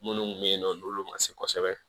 Minnu bɛ yen nɔ n'olu ma se kosɛbɛ